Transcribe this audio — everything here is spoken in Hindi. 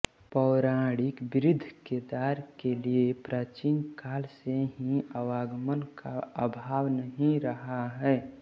पौराणिक बृद्धकेदार के लिए प्राचीन काल से ही आवागमन का अभाव नहीं रहा है